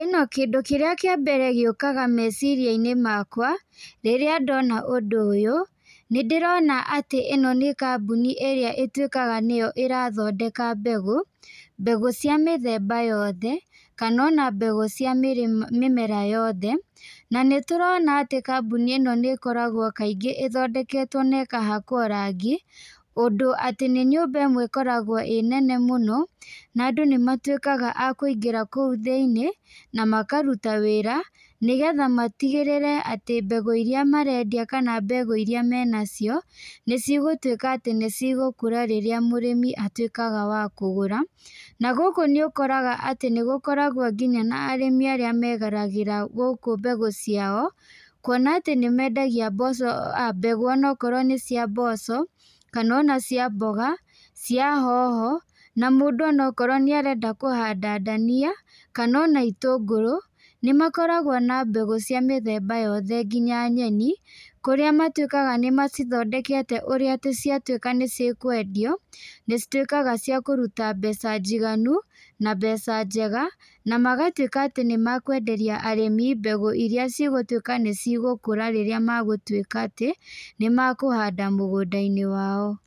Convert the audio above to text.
ĩno kĩndũ kĩrĩa kĩa mbere gĩũkaga meciria-inĩ makwa, rĩrĩa ndona ũndũ ũyũ, nĩ ndĩrona atĩ ĩno nĩ kambuni ĩrĩa ĩtuĩkaga nĩyo ĩrathondekaga mbegũ, mbegũ cia mĩthemba yothe, kana ona mbegũ cia mĩmera yothe, na nĩ turona atĩ kambuni ĩno nĩ koragwo kaingĩ ĩthondeketwo na ĩkahakwo rangi, ũndũ atĩ nĩ nyũmba ĩmwe ĩkoragwo ĩnene mũno, nandũ nĩ matuĩkaga a kũingĩra kũu thĩiniĩ, na makaruta wĩra, nĩgetha matigĩrĩre atĩ mbegũ iria marendia kana mbegũ iria menacio, nĩ cigũtuĩka atĩ nĩ cigũkũra rĩrĩa mũrĩmi atuĩkaga wa kũgũra, na gũkũ nĩ ũkoraga atĩ nĩ gũkoragwo nginya na arĩmi arĩa megeragĩra gũkũ mbegũ ciao, kuona atĩ nĩ mendagia mboco aa mbegũ onokorwo nĩ cia mboco, kana ona cia mboga, cia hoho, na mũndũ onakorwo nĩ arenda kũhanda ndania, kana ona itũngũrũ, nĩ makoragwo na mbegũ cia mĩthemba yothe ngina nyeni, kũrĩa matuĩkaga nĩ macithondekete ũrĩa atĩ ciatuĩka nĩ cĩkwendio, nĩ cituĩkaga cia kũruta mbeca njiganu, na mbeca njega, na magatuĩka atĩ nĩ mekwenderia arĩmi mbegũ iria cigũtuĩka nĩ cigũkũra rĩrĩa megũtuĩka atĩ, nĩ mekũhanda mũgũnda-inĩ wao.